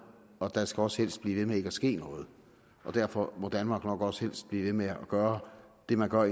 og der skal også helst blive ved med ikke at ske noget derfor må danmark nok også helst blive ved med at gøre det man har